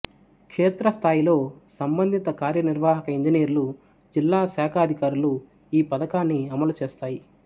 క్షేత్రస్ధాయిలో సంబంధిత కార్యనిర్వహక ఇంజనీర్లు జిల్లా శాఖాధికారులు ఈ పధకాన్ని అమలు చేస్తాయి